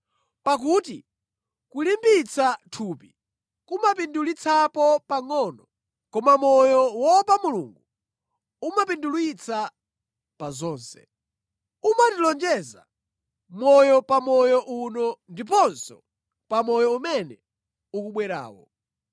Pakuti kulimbitsa thupi kumapindulitsapo pangʼono, koma moyo woopa Mulungu umapindulitsa pa zonse. Umatilonjeza moyo pa moyo uno ndiponso pa moyo umene ukubwerawo.